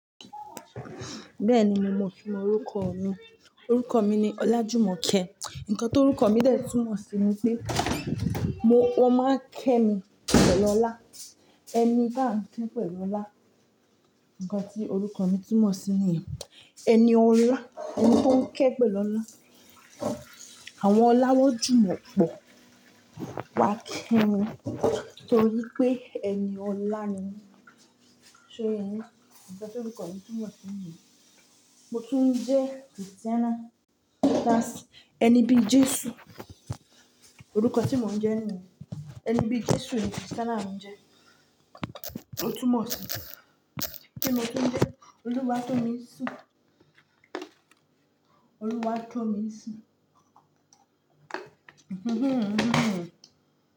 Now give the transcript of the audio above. Bẹ́ẹ̀ni mo mọ orúkọ mi. Orúkọ mi ni Ọlájùmọ̀kẹ́. Ǹkan tó orúkọ mi dè tí mọ̀ sí ni pé mo, won máa ń kẹ́ mi pẹ̀lú ọlá. Ẹni bá n kẹ́ pẹ̀lú ọlá. Ǹkan tí orúkọ mi túmọ̀ sí niyen ẹni ọlá, ẹni tó ń kẹ́ pẹ̀lú ọlá. Àwọn ọlá wọ́n jùmọ̀ pọ̀. Wá kẹ́ mi torí pé ẹni ọlá ni mí. So yèyín ǹkan tí orúkọ mi túmọ̀ sí níyen. Mo tún jẹ́ Kristẹ́nà, that's ẹni bí Jésù. Orúkọ tí mo ń jẹ́ níyen Ẹni bí Jésù ni Kristẹ́nà ń jẹ́. O túmọ̀ sí pé mo tún jẹ́ olúwa tọ́ mi sí. Olúwa tọ́ mi sí.